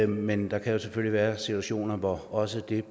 men der kan jo selvfølgelig være situationer hvor også det er